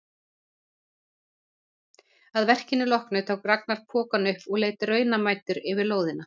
Að verkinu loknu tók Ragnar pokann upp og leit raunamæddur yfir lóðina.